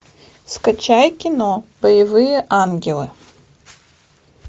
скачай кино боевые ангелы